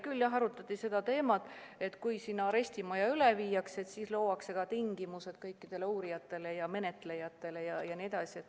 Küll arutati seda teemat, et kui sinna arestimaja üle viiakse, siis luuakse tingimused kõikidele uurijatele ja menetlejatele ja nii edasi.